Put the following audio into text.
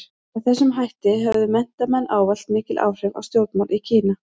Með þessum hætti höfðu menntamenn ávallt mikil áhrif á stjórnmál í Kína.